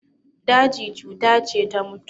Daji cuta ce ta mutuwa.